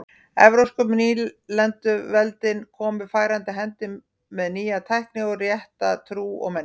Evrópsku nýlenduveldin komu færandi hendi með nýja tækni og rétta trú og menningu.